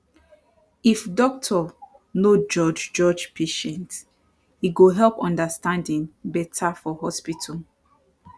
if doctor no judge judge patient e go help understanding better for hospital